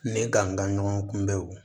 Ne ka n ka ɲɔgɔn kunbɛ